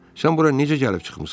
Sən bura necə gəlib çıxmısan?